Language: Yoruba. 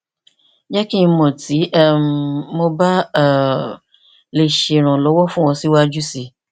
jẹ ki n mọ ti um mo ba um le ṣe iranlọwọ fun ọ siwaju sii